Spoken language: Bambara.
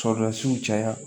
caya